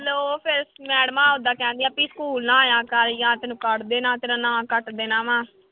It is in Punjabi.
ਉਹ ਫਿਰ ਮੈਡਮਾਂ ਏਦਾਂ ਕਹਿੰਦੀਆਂ ਵੀ ਸਕੂਲ ਨਾ ਆਇਆ ਕਰ ਜਾਂ ਤੈਨੂੰ ਕੱਢ ਦੇਣਾ, ਤੇਰਾ ਨਾਂ ਕੱਟ ਦੇਣਾ ਵਾਂ।